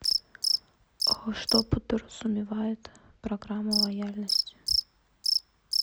что подразумевает программа лояльности